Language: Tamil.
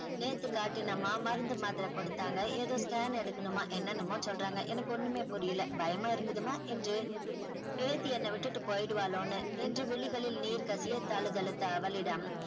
நேத்து காட்டினாம்மா மருந்து மாத்திரை கொடுத்தாங்க ஏதோ scan எடுக்கணுமா என்னென்னமோ சொல்றாங்க எனக்கு ஒண்ணுமே புரியல பயமா இருக்குதுமா என்று பேத்தி என்னை விட்டு போய்டுவாலோனு என்று விழிகளில் நீர் கசிய தழுதழுத்த அவளிடம்